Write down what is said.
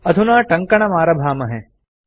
अधुना टङ्कणमारभामहे